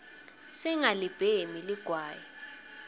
singalibhemi ligwayi